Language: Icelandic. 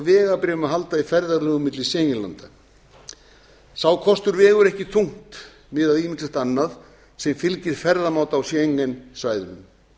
vegabréfum að halda í ferðalögum milli schengen landa sá kostur vegur ekki þungt miðað við ýmislegt annað sem fylgir ferðamáta á schengen svæðunum